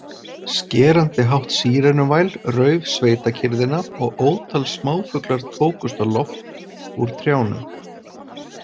Skerandi hátt sírenuvæl rauf sveitakyrrðina og ótal smáfuglar tókust á loft úr trjánum.